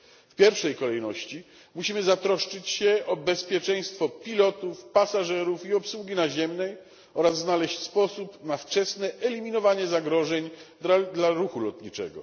W pierwszej kolejności musimy zatroszczyć się o bezpieczeństwo pilotów, pasażerów i obsługi naziemnej oraz znaleźć sposób na wczesne eliminowanie zagrożeń dla ruchu lotniczego.